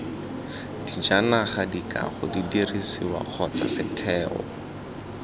dijanaga dikago didirisiwa kgotsa setheo